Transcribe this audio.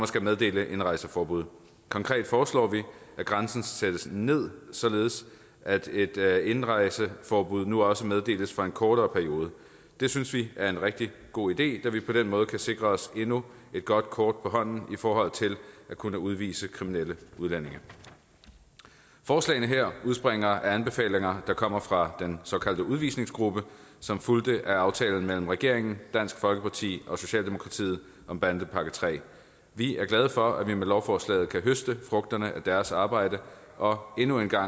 skal meddele indrejseforbud konkret foreslår vi at grænsen sættes ned således at et indrejseforbud nu også meddeles for en kortere periode det synes vi er en rigtig god idé da vi på den måde kan sikre os endnu et godt kort på hånden i forhold til at kunne udvise kriminelle udlændinge forslagene her udspringer af anbefalinger der kommer fra den såkaldte udvisningsgruppe som fulgte af aftalen mellem regeringen dansk folkeparti og socialdemokratiet om bandepakke iii vi er glade for at vi med lovforslaget kan høste frugterne af deres arbejde og endnu en gang